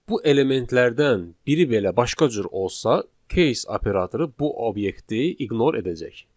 Bu elementlərdən biri belə başqa cür olsa, case operatoru bu obyekti ignore edəcək.